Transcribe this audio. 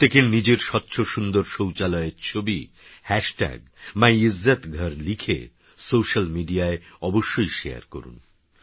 প্রত্যেকেরনিজেরস্বচ্ছসুন্দরশৌচালয়েরছবিMyIzzatGharলিখেসোশ্যালমিডিয়ায়অবশ্যইশেয়ারকরুন